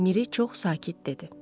Miri çox sakit dedi.